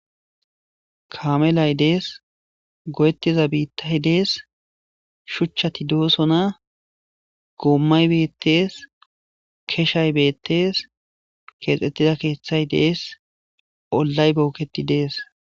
kamelay dees go7ettiza biittahi dees shuchchati doosona goommay beettees keshay beettees keexxettida keeththay dees ollay booketi dees